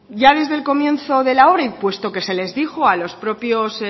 ya desde el comienzo de la obra y puesto que se les dijo a los propios